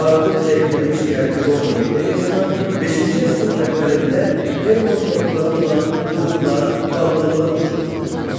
Artıq zəifləmiş Qərbi Roma imperiyasına 5-ci əsrin əvvəlində German tayfaları olan Qotlar, Vandallar hücum etdilər.